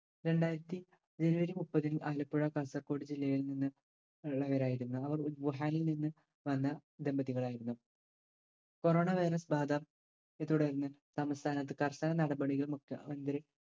രണ്ടായിരത്തി ജനുവരി മുപ്പതിന് ആലപ്പുഴ കാസർഗോഡ് ജില്ലയിൽ നിന്ന് ഉള്ളവരായിരുന്നു. അവർ വുഹാനിൽ നിന്ന് വന്ന ദമ്പതികളായിരുന്നു corona virus ബാധ യെ തുടർന്ന് കർശന നടപടികൾ മുഖ്യമന്ത്രി